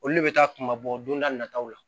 Olu le bɛ taa kunba bɔ don da nataw la